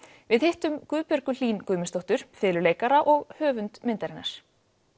við hittum Guðbjörgu Hlín Guðmundsdóttur fiðluleikara og höfund myndarinnar